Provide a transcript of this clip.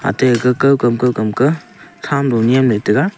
atai kakow kam ka khum low ley ngan taiga.